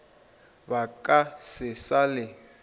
ba ka se sa le